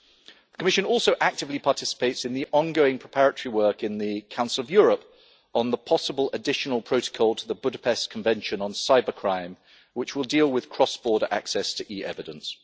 The Commission also actively participates in the ongoing preparatory work in the Council of Europe on the possible additional protocol to the Budapest Convention on Cybercrime, which will deal with cross border access to e-evidence.